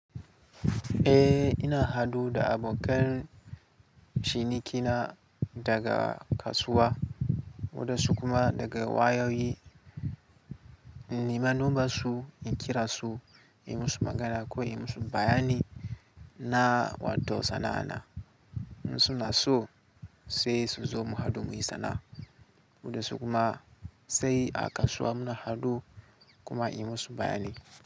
Eh ina haɗu da abokan cinikina daga kasuwa, waɗansu kuma daga wayoyi. In nema nomba su, in kira su, in yi musu magana ko in yi musu bayani na wato sana'ana. In suna so sai su zo mu haɗu muyi sana'a. Waɗansu kuma sai a kasuwa muna haɗu kuma in yi musu bayani.